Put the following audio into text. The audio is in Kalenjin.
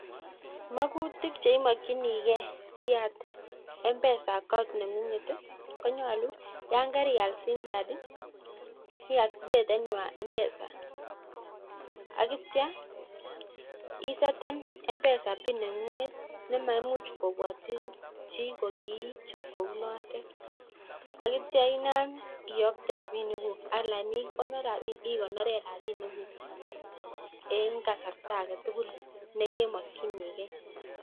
Makutik che imokyinikei asiyat mpesa account nengunget ii konyolu yan karial simkat iktifeten mpesa aktya iseten mpesa bin nengenget ne maimuch kobwatchi chi ko kiichob kou notet akityo inam iyotee rabinik guk ala ikonoren rabinik guj en kasarta aketukul nekemoktyinikei